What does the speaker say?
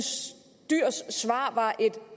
dyhrs svar var et